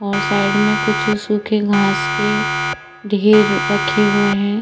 और साइड में कुछ सूखे घास के ढेर रखे हुए है।